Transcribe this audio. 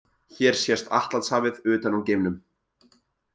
Hér sést Atlantshafið utan úr geimnum.